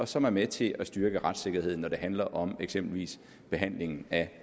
som er med til at styrke retssikkerheden når det handler om eksempelvis behandlingen af